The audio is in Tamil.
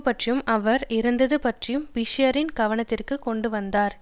பற்றியும் அவர் இருந்தது பற்றி பிஷரின் கவனத்திற்கு கொண்டு வந்தார்